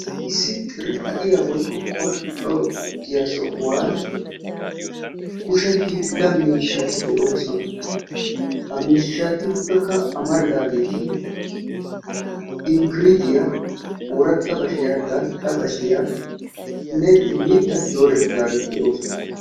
Issi xirphatiya woykko qol"otiya sohuwan kushe hiilla mishshati de'oosona. Ha miishshatuppekka amaridaageeti inkkiritiya, ooratta bashiya, gal'a bashiyanne mittati dooretidaageti de'oosona